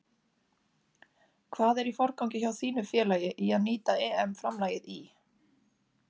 Hvað er í forgangi hjá þínu félagi í að nýta EM framlagið í?